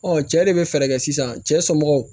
cɛ de bɛ fɛɛrɛ kɛ sisan cɛ somɔgɔw